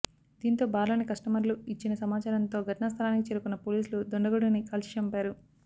దీంతో బార్ లోని కస్టమర్లు ఇచ్చిన సమాచారంతో ఘటనాస్థలికి చేరుకున్న పోలీసులు దుండగుడిని కాల్చిచంపారు